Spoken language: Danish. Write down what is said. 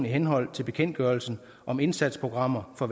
i henhold til bekendtgørelsen om indsatsprogrammer for